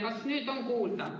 Kas nüüd on kuulda?